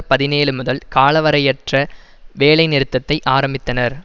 பதினேழு முதல் காலவரையறை அற்ற வேலை நிறுத்தத்தை ஆரம்பித்தனர்